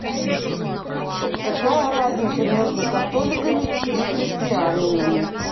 какая разница между католиками и христианами